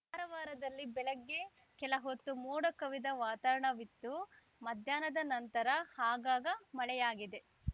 ಕಾರವಾರದಲ್ಲಿ ಬೆಳಗ್ಗೆ ಕೆಲಹೊತ್ತು ಮೋಡಕವಿದ ವಾತಾರಣವಿತ್ತು ಮಧ್ಯಾಹ್ನದ ನಂತರ ಆಗಾಗ ಮಳೆಯಾಗಿದೆ